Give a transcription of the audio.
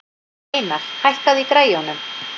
Reynar, hækkaðu í græjunum.